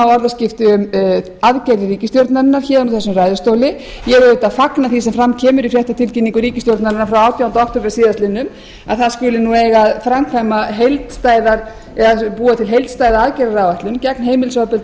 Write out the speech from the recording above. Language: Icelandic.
orðaskipti um aðgerðir ríkisstjórnarinnar héðan úr þessum ræðustóli ég auðvitað fagna því sem fram kemur í fréttatilkynningu ríkisstjórnarinnar frá átjándu október síðastliðinn að búa eigi til heildstæða aðgerðaáætlun gegn heimilisofbeldi og